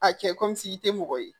A cɛ te mɔgɔ ye